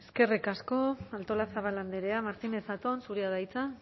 eskerrik asko artolazabal andrea martínez zatón zurea da hitza